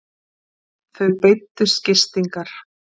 Þau beiddust gistingar.